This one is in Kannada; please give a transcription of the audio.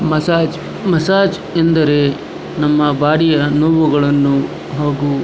ಮಸಾಜ್ ಮಸಾಜ್ ಎಂದರೆ ನಮ್ಮ ಬೋಡಿಯ ನೋವುಗಳನ್ನು ಹಾಗು --